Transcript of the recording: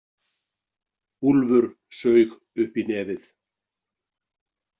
Úlfur saug upp í nefið.